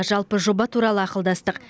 жалпы жоба туралы ақылдастық